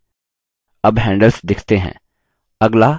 अब handles दिखते हैं